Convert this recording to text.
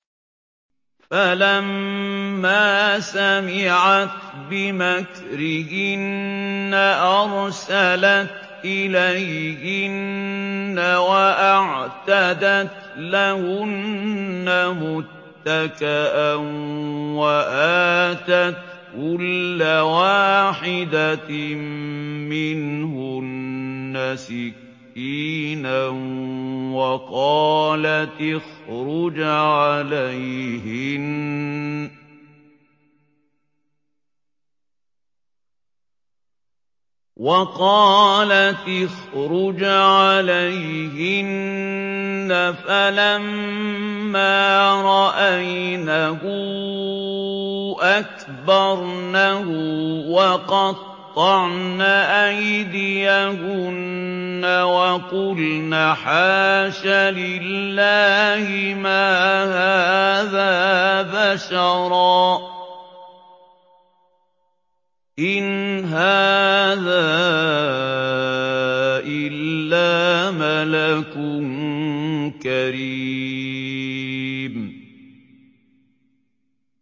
فَلَمَّا سَمِعَتْ بِمَكْرِهِنَّ أَرْسَلَتْ إِلَيْهِنَّ وَأَعْتَدَتْ لَهُنَّ مُتَّكَأً وَآتَتْ كُلَّ وَاحِدَةٍ مِّنْهُنَّ سِكِّينًا وَقَالَتِ اخْرُجْ عَلَيْهِنَّ ۖ فَلَمَّا رَأَيْنَهُ أَكْبَرْنَهُ وَقَطَّعْنَ أَيْدِيَهُنَّ وَقُلْنَ حَاشَ لِلَّهِ مَا هَٰذَا بَشَرًا إِنْ هَٰذَا إِلَّا مَلَكٌ كَرِيمٌ